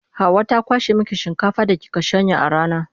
Hauwa ta kwashe miki shinkafar da kika shanya a rana.